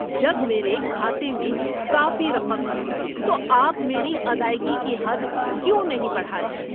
جب میرے کھاتے میں کافی رقم ہے تو آپ میری ادائیگی کی حد کیوں نہیں بڑھا رہے ہیں؟